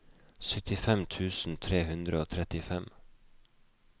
syttifem tusen tre hundre og trettifem